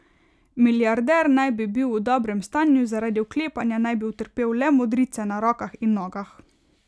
Milijarder naj bi bil v dobrem stanju, zaradi vklepanja naj bi utrpel le modrice na rokah in nogah.